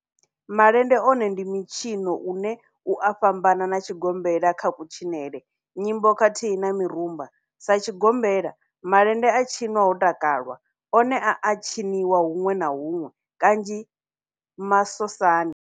Malende one ndi mitshino une u a fhambana na tshigombela kha kutshinele, nyimbo khathihi na mirumba, Sa tshigombela, malende a tshinwa ho takalwa, one a a tshiniwa hunwe na hunwe kanzhi masosani.